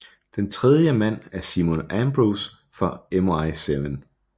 Den tredje mand er Simon Ambrose fra MI7